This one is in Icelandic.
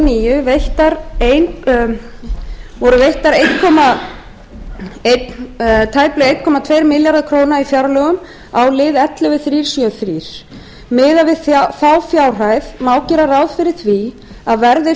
níu veittar tæplega eina tvær milljónir króna í fjárlögum á lið ellefu til þrjú hundruð sjötíu og þrjú miðað við þá fjárhæð má gera ráð fyrir að verði